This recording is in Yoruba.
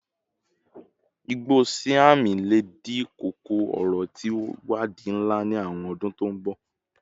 igbo siam le di koko-ọrọ ti iwadii nla ni awọn ọdun to n bọ